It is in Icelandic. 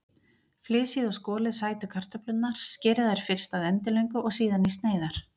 Flysjið og skolið sætu kartöflurnar, skerið þær fyrst að endilöngu og síðan í sneiðar.